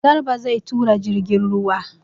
Garba zai tura jirgin ruwa.